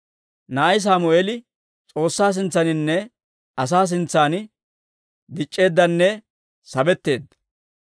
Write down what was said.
Na'ay Sammeeli S'oossaa sintsaaninne asaa sintsan dic'c'eeddanne sabetteedda.